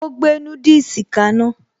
Ó gbé núdùsì kaná